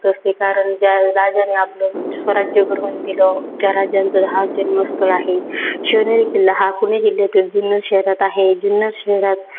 असते. कारण ज्या राजानी आपल स्वराज्य घडवून दिलं त्या राजाचं हा जन्मस्थळ आहे. शिवनेरी किल्ला हा पुणे जिल्ह्यातील जुन्नर शहरात आहे. जुन्नर शहरात